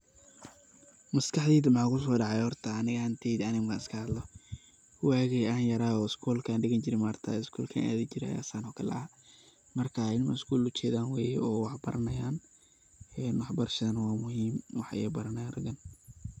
Maskax deyda maxa kuso dacay horta aniga ahanteyda, aniga markan iska hadlo wagi aan yarayo schoolka an digan jire maaragtaye schoolka an adhi jiraay ayan saano kale ahaa. Marka waa ilmo skoolka ujedaan weye oo wax baranayan een wax barashadana wa muhim, wax ayey baranayan ragan.